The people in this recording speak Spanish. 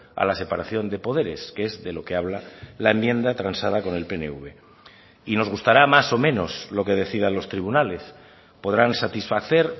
a la separación de poderes que es de lo que habla la enmienda transada con el pnv y nos gustará más o menos lo que decidan los tribunales podrán satisfacer